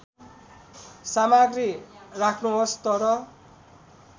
सामग्री राख्नुहोस् तर